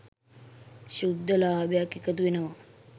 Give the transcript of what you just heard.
ශුද්ධ ලාභයක්‌ එකතු වෙනවා.